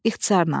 İxtisarnan.